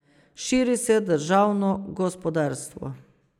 Širi se državno gospodarstvo.